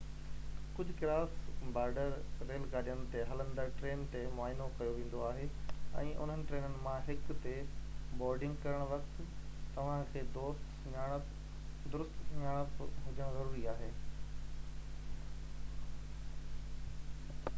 ڪجهه ڪراس-بارڊر ريل گاڏين تي هلندڙ ٽرين تي معائنو ڪيو ويندو آهي ۽ انهن ٽرينن مان هڪ تي بورڊنگ ڪرڻ وقت توهان کي درست سڃاڻپ هجڻ ضروري آهي